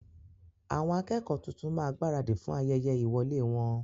Àwọn akẹ́kọ́ọ̀ tuntun máa gbaradì fún ayẹyẹ ìwọ̀lẹ́ wọn.